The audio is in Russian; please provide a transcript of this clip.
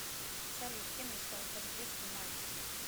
салют кем мечтал стать в детстве мальцев